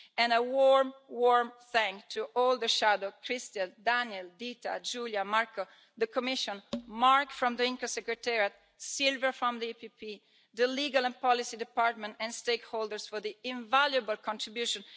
A warm thank you to all the shadows Christian, Daniel, Dita, Julie and Marco, the Commission, Mark from the ENCA secretariat, Silva from the EPP, the legal and policy department and stakeholders for their invaluable contribution.